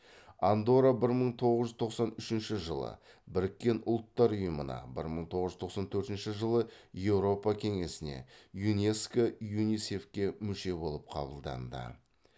андорра бір мың тоғыз жүз тоқсан үшінші жылы біріккен ұлттар ұйымына бір мың тоғыз жүз тоқсан төртінші жылы еуропа кеңесіне юнеско юнисеф ке мүше болып қабылданды